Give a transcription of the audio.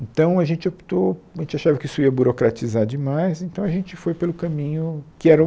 Então a gente optou, a gente achava que isso ia burocratizar demais, então a gente foi pelo caminho que era um...